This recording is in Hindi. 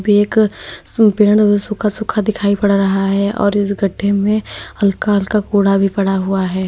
एक संपूर्ण सूखा सूखा पेड़ दिखाई पड़ रहा है और इस गड्ढे में हल्का हल्का कूड़ा भी पड़ा हुआ है।